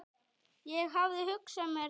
Ég hafði hugsað mér það.